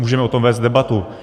Můžeme o tom vést debatu.